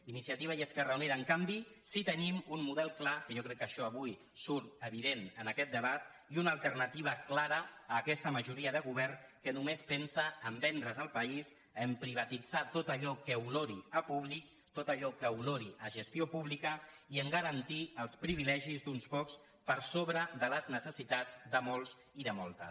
iniciativa i esquerra unida en canvi sí que tenim un model clar que jo crec que això avui surt evident en aquest debat i una alternativa clara a aquesta majoria de govern que només pensa a vendre’s el país a privatitzar tot allò que olori a públic tot allò que olori a gestió pública i a garantir els privilegis d’uns pocs per sobre de les necessitats de molts i de moltes